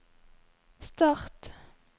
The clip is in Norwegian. start